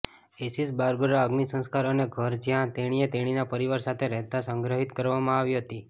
Ashes Barbara અગ્નિસંસ્કાર અને ઘર જ્યાં તેણીએ તેણીના પરિવાર સાથે રહેતા સંગ્રહિત કરવામાં આવી હતી